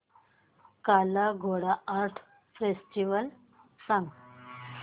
काला Ghoda art festival सांग